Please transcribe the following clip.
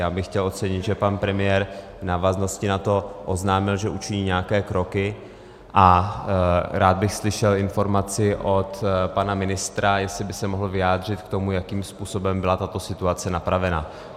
Já bych chtěl ocenit, že pan premiér v návaznosti na to oznámil, že učiní nějaké kroky, a rád bych slyšel informaci od pana ministra, jestli by se mohl vyjádřit k tomu, jakým způsobem byla tato situace napravena.